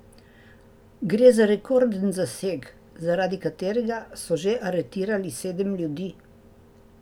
Gre za rekorden zaseg, zaradi katerega so že aretirali sedem ljudi.